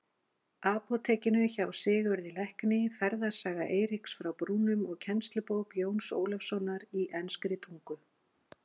Apótekinu hjá Sigurði lækni, Ferðasaga Eiríks frá Brúnum og kennslubók Jóns Ólafssonar í enskri tungu.